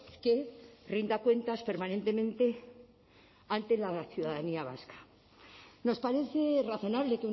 que rinda cuentas permanentemente ante la ciudadanía vasca nos parece razonable